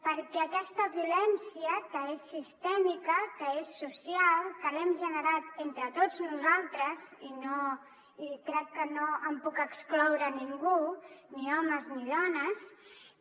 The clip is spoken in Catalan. perquè aquesta violència que és sistèmica que és social que l’hem generat entre tots nosaltres i crec que no en puc excloure ningú ni homes ni dones